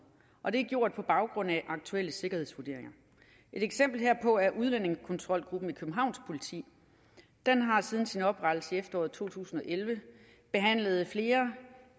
og det er gjort på baggrund af aktuelle sikkerhedsvurderinger et eksempel herpå er udlændingekontrolgruppen i københavns politi den har siden sin oprettelse i efteråret to tusind og elleve behandlet flere